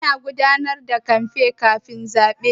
Ana gudanar da kamfen kafin a yi zaɓe.